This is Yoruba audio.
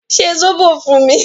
Ṣe sóbò fún mi!